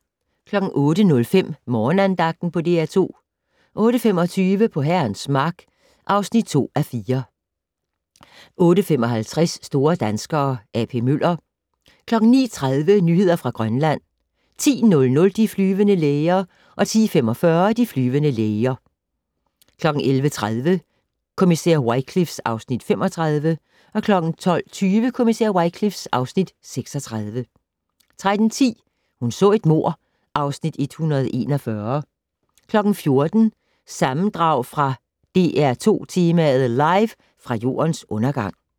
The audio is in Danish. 08:05: Morgenandagten på DR2 08:25: På Herrens Mark (2:4) 08:55: Store danskere - A.P. Møller 09:30: Nyheder fra Grønland 10:00: De flyvende læger 10:45: De flyvende læger 11:30: Kommissær Wycliffe (Afs. 35) 12:20: Kommissær Wycliffe (Afs. 36) 13:10: Hun så et mord (Afs. 141) 14:00: Sammendrag fra "DR2 Tema: Live fra Jordens Undergang"